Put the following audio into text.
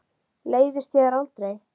Leiðist þér aldrei?